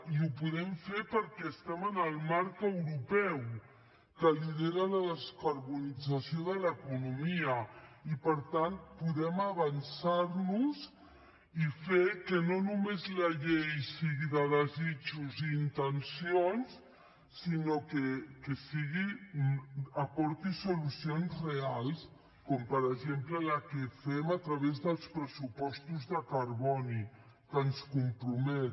i ho podem fer perquè estem en el marc europeu que lidera la descarbonització de l’economia i per tant podem avançar nos i fer que no només la llei sigui de desitjos i intencions sinó que aporti solucions reals com per exemple la que fem a través dels pressupostos de carboni que ens compromet